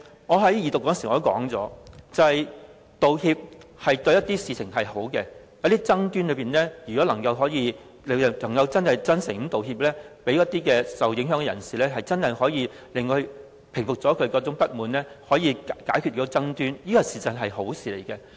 我在二讀時已指出，道歉對某些事情是好的，如果有一些爭端能夠透過真誠道歉，讓那些受影響的人士真正平服不滿，從而解決爭端，事實上是好事。